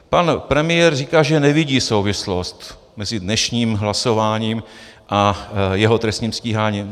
Pan premiér říká, že nevidí souvislost mezi dnešním hlasováním a jeho trestním stíháním.